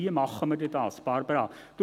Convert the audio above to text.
Wie machen wir es dann, Barbara Streit?